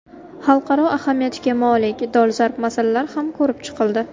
Xalqaro ahamiyatga molik dolzarb masalalar ham ko‘rib chiqildi.